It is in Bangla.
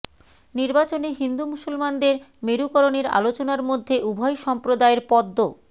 নির্বাচনে হিন্দু মুসলমানদের মেরুকরণের আলোচনার মধ্যে উভয় সম্প্রদায়ের পদ্ম